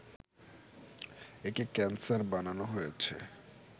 একে ক্যানসার বানানো হয়েছে